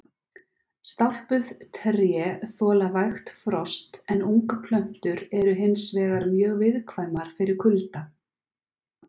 Stálpuð tré þola vægt frost en ungplöntur eru hins vegar mjög viðkvæmar fyrir kulda.